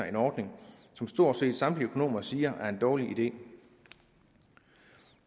en ordning som stort set samtlige økonomer siger er en dårlig idé